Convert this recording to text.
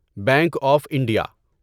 bank of India